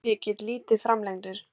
Brotinn lykill, lítið framlengdur.